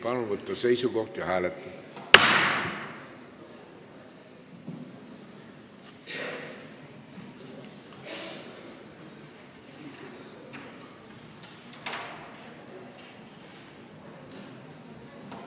Palun võtta seisukoht ja hääletada!